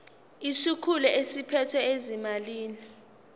isikhulu esiphethe ezezimali